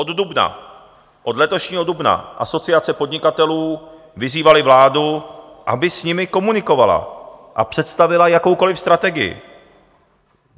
Od dubna, od letošního dubna Asociace podnikatelů vyzývala vládu, aby s nimi komunikovala a představila jakoukoliv strategii.